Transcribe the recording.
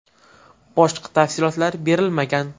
Boshqa tafsilotlar berilmagan.